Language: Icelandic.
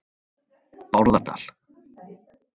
Bárðardal